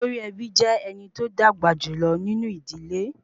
Olórí ẹbí jé ẹnití ó dàgbà jùlọ nínú ìdílé